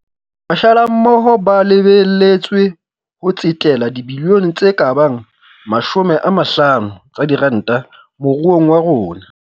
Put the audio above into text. Mashala mmoho ba lebe letswe ho tsetela dibilione tse ka bang 50 tsa diranta moruong wa rona.